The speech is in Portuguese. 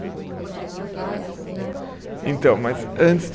Grupo do Teatro Afásicos, né? Então, mas antes